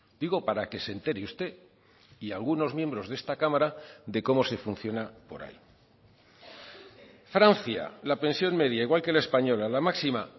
digo para que se entere usted y algunos miembros de esta cámara de cómo se funciona por ahí francia la pensión media igual que la española la máxima